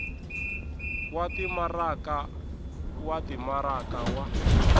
wa timaraka wa timaraka wa